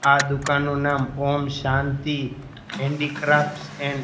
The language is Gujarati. આ દુકાનનું નામ ઓમ શાંતિ હેન્ડીક્રાફ્ટસ એન્ડ --